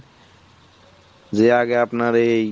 যে আগে আপনার এই